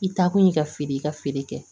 I taa kun y'i ka feere i ka feere kɛ